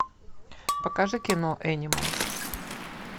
покажи кино энималс